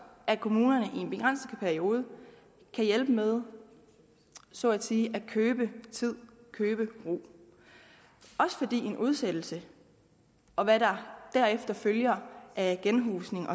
at kommunerne i en begrænset periode kan hjælpe med så at sige at købe tid at købe ro også fordi en udsættelse og hvad deraf følger af genhusning